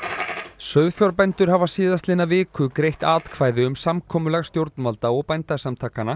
sauðfjárbændur hafa síðastliðna viku greitt atkvæði um samkomulag stjórnvalda og Bændasamtakanna